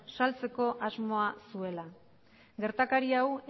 saltzeko asmoa zuela gertakari hau